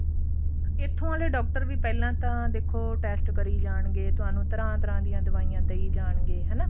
ਇੱਥੋਂ ਆਲੇ doctor ਵੀ ਪਹਿਲਾਂ ਤਾਂ ਦੇਖੋ test ਕਰੀ ਜਾਣਗੇ ਤੁਹਾਨੂੰ ਤਰ੍ਹਾਂ ਤਰ੍ਹਾਂ ਦੀਆਂ ਦਵਾਈਆਂ ਦਈ ਜਾਣਗੇ ਹਨਾ